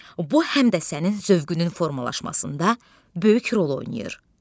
Bu həm də sənin zövqünün formalaşmasında böyük rol oynayır.